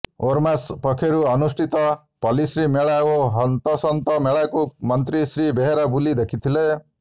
ଓରମାସ ପକ୍ଷରୁ ଅନୁଷ୍ଠିତ ପଲ୍ଲିଶ୍ରୀ ମେଳା ଓ ହସ୍ତତନ୍ତ ମେଳାକୁ ମନ୍ତ୍ରୀ ଶ୍ରୀ ବେହେରା ବୁଲି ଦେଖିଥିଲେ